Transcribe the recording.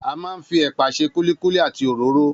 A máa ń fi ẹ̀pà ṣe kúlíkúlí àti òróró